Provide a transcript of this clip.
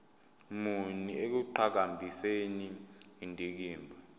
muni ekuqhakambiseni indikimba